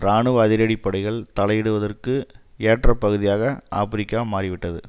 இராணுவ அதிரடிப்படைகள் தலையிடுவதற்கு ஏற்ற பகுதியாக ஆபிரிக்கா மாறி விட்டது